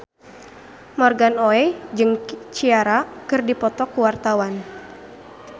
Morgan Oey jeung Ciara keur dipoto ku wartawan